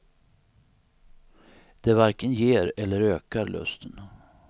Det varken ger, eller ökar lusten.